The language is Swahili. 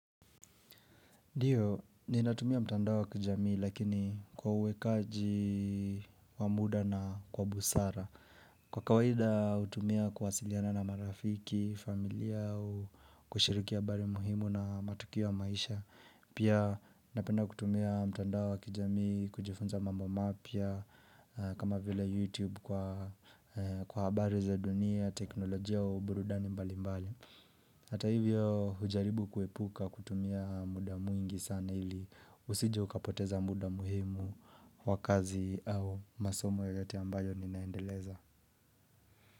Ndio, ninatumia mtandao wa kijamii lakini kwa uwekaji wa muda na kwa busara. Kwa kawaida hutumia kawasiliana na marafiki, familia, kushiriki habari muhimu na matukiwa maisha. Pia napenda kutumia mtandao wa kijamii, kujifunza mambo mapya, kama vile YouTube kwa habari za dunia, teknolojia wa ubrudani mbali mbali. Hata hivyo hujaribu kuepuka kutumia mudaa mwingi sana ili usijeukapoteza mudaa muhimu wakazi au masomo yoyote ambayo ninaendeleza.